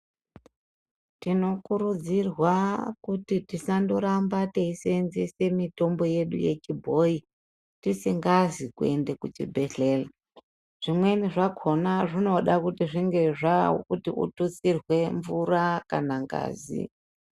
Tinokurudzirwa kuti tisangoramba teisenzesa mishonga yedu yechibhoyi tisikazi kuenda kuchibhedhlera zvimweni zvakona zvinoda kuti kututsirwe mvura kana ngazi.